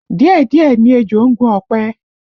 Díẹ̀díẹ̀ ni ejò ń gun ọ̀pẹ